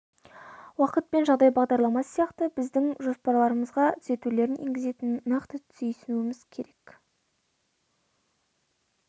уақыт пен жағдай бағдарламасы сияқты біздің жоспарларымызға түзетулерін енгізетінін нақты түйсінуіміз керек